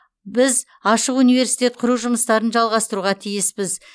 біз ашық университет құру жұмыстарын жалғастыруға тиіспіз